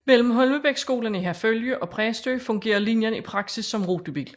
Mellem Holmebækskolen i Herfølge og Præstø fungerer linjen i praksis som rutebil